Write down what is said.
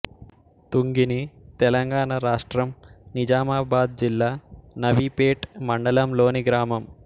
తుంగిని తెలంగాణ రాష్ట్రం నిజామాబాద్ జిల్లా నవీపేట్ మండలంలోని గ్రామం